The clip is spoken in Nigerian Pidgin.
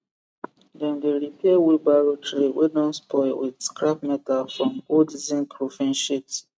dem dey repair wheelbarrow tray wey don spoil with scrap meta from old zinc roofing sheet